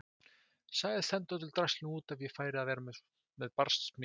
Sagðist henda öllu draslinu út ef ég færi að vera með barsmíðar.